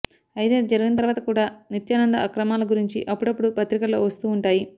అయితే అది జరిగిన తర్వాత కూడా నిత్యానంద అక్రమాల గురించి అప్పుడప్పుడు పత్రికల్లో వస్తూ ఉంటాయి